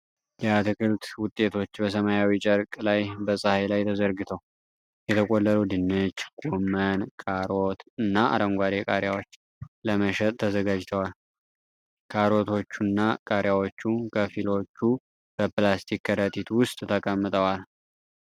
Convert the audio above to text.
የአትክልት ውጤቶች በሰማያዊ ጨርቅ ላይ በፀሐይ ላይ ተዘርግተው ። የተቆለሉ ድንች፣ ጎመን፣ ካሮት እና አረንጓዴ ቃሪያዎች ለመሸጥ ተዘጋጅተዋል። ካሮቶቹና ቃሪያዎቹ ከፊሎቹ በፕላስቲክ ከረጢት ውስጥ ተቀምጠዋል።